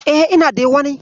E, ina da wani.